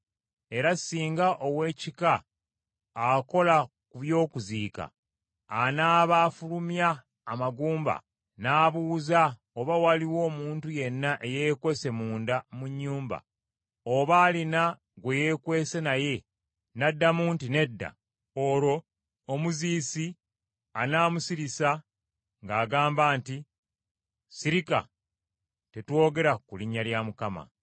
Era singa ow’ekika akola ku by’okuziika, anaaba afulumya amagumba n’abuuza oba waliwo omuntu yenna eyeekwese munda mu nnyumba, oba alina gwe yeekwese naye, n’addamu nti, “Nedda,” olwo omuziisi anaamusirisa ng’agamba nti, “Sirika; tetwogera ku linnya lya Mukama .”